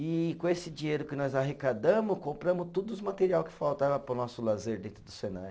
E com esse dinheiro que nós arrecadamos, compramos tudo os materiais que faltavam para o nosso lazer dentro do Senai.